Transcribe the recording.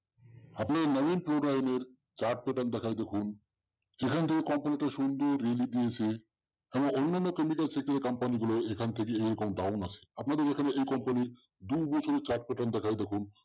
আপনি নবীন ফ্লোরাইয়ের chart pattern দেখায় দেখুন সেখানে কমপক্ষে সুন্দর rally দিয়েছে এবং অন্যান্য থেকে company গুলো এরকম down আছে। আপনাদের দেখায় এই company দু বছরের chart pattern দেখায় দেখুন